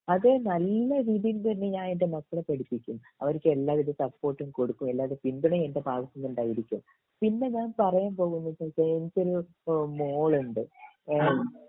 അത് നല്ല രീതിയിൽ തന്നെ ഞാൻ എൻ്റെ മക്കളെ പഠിപ്പിക്കും അവർക്ക് എല്ലാവിധ സപ്പോർട്ടും കൊടുക്കും എല്ലാവരുടേം പിന്തുണയും എൻ്റെ ഭാഗത്തുന്ന് ഉണ്ടായിരിക്കും പിന്നെ ഞാൻ പറയാൻ പോകുന്നത് വെച്ചാ എനിക്കൊരു മോളുണ്ട്